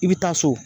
I bɛ taa so